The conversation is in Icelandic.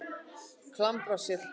Klambraseli